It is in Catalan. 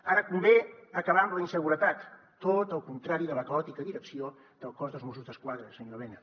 ara convé acabar amb la inseguretat tot el contrari de la caòtica direcció del cos dels mossos d’esquadra senyor elena